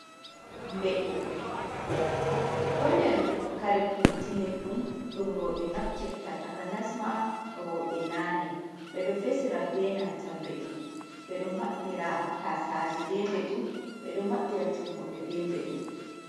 Bedu do nder kare kutinirdum dum roɓe naftirta ,taka nasma roɓe nane ɓedo vesira be nantam bedu ɓedo maɓɓira taasaje be bedu ɓedo maɓɓira tummuɓe be bedu.